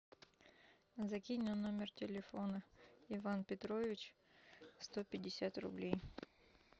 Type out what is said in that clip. закинь на номер телефона иван петрович сто пятьдесят рублей